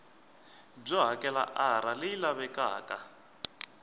byo hakela r leyi lavekaka